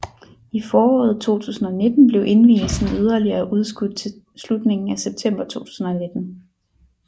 I foråret 2019 blev indvielsen yderligere udskudt til slutningen af september 2019